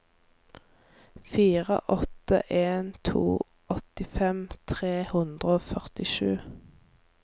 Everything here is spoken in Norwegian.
fire åtte en to åttifem tre hundre og førtisju